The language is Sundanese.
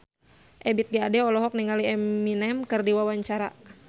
Ebith G. Ade olohok ningali Eminem keur diwawancara